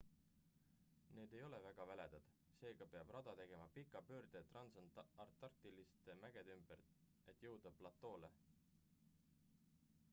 need ei ole väga väledad seega peab rada tegema pika pöörde transantarktiliste mägede ümber et jõuda platoole